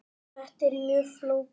Þetta er mjög flókið.